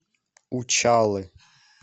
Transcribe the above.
учалы